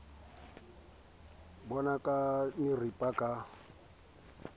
bo naka di maripa ka